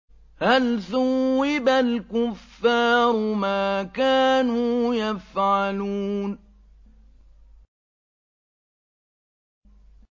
هَلْ ثُوِّبَ الْكُفَّارُ مَا كَانُوا يَفْعَلُونَ